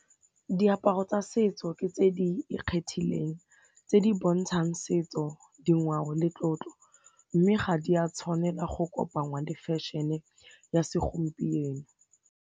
Diaparo tsa setso ke tse di ikgethileng tse di bontshang setso, ngwao le tlotlo mme ga di a tshwanela go kopangwa le fashion-e ya segompieno.